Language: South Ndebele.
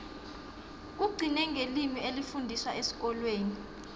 kugcine ngelimi elifundiswa esikolweni